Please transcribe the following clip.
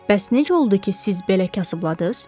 Bəs necə oldu ki, siz belə kasıbladınız?